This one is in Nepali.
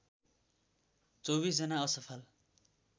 १४ जना असफल